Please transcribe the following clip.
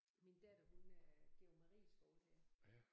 Min datter hun øh går på Marieskolerne